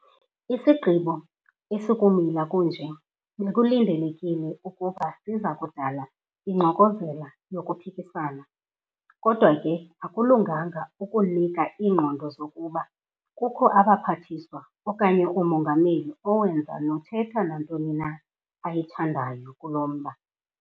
Isigqibo esikumila kunje bekulindelekile ukuba siza kudala ingxokozela yokuphikisana, kodwa ke akulunganga ukunika iingqondo zokuba kukho abaPhathiswa okanye uMongameli owenza nothetha nantoni na ayithandayo kulo mba.